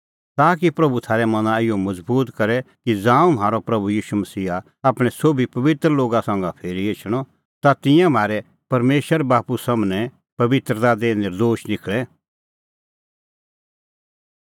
ताकि प्रभू थारै मना इहअ मज़बूत करे कि ज़ांऊं म्हारअ प्रभू ईशू मसीहा आपणैं सोभी पबित्र लोगा संघै फिरी एछे ता तिंयां म्हारै परमेशर बाप्पू सम्हनै पबित्रता दी नर्दोश निखल़े